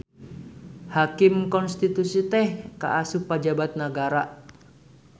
Hakim Konstitusi teh kaasup pajabat nagara.